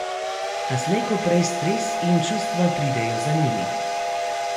A slej ko prej stres in čustva pridejo za njimi.